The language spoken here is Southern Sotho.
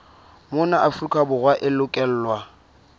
mona afrika borwa e lokelwa